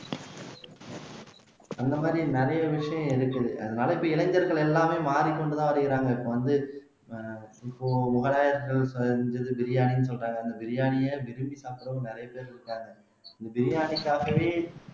அந்த மாதிரி நிறைய விஷயம் இருக்குது அதனால இப்ப இளைஞர்கள் எல்லாமே மாறிக் கொண்டு தான் வருகிறாங்க இப்ப வந்து ஆஹ் இப்போ மொகலாயர்கள் செஞ்சது பிரியாணின்னு சொல்றாங்க அந்த பிரியாணியை விரும்பி சாப்பிடுறவங்க நிறைய பேர் இருக்காங்க இந்த பிரியாணிக்காகவே